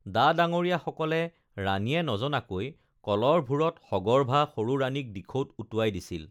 ডা-ডাঙৰীয়াসকলে ৰাণীয়ে নজনাকৈ কলৰ ভূৰত সগৰ্ভা সৰু ৰাণীক দিখৌত উটুৱাই দিছিল